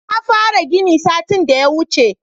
Na fara gini satin da ya wuce